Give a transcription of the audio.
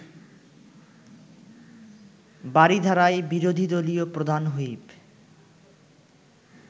বারিধারায় বিরোধী দলীয় প্রধান হুইপ